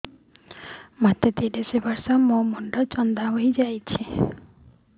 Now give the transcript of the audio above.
ମୋ ତିରିଶ ବର୍ଷ ମୋ ମୋଥା ଚାନ୍ଦା ହଇଯାଇଛି